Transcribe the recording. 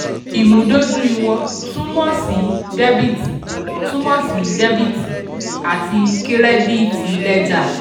8. ìmúdójú ìwọ̀n túmọ̀ sí dẹ́bìtì túmọ̀ sí dẹ́bìtì àti kírẹ́díìtì lẹ́jà.